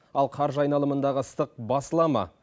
ал қаржы айналымындағы ыстық басыла ма